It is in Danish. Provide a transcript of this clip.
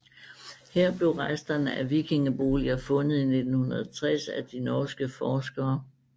Her blev resterne af vikingeboliger fundet i 1960 af de norske forskere dr